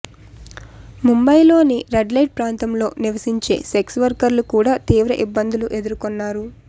ముంబైలోని రెడ్లైట్ ప్రాంతంలో నివసించే సెక్స్ వర్కర్లు కూడా తీవ్ర ఇబ్బందులు ఎదుర్కొన్నారు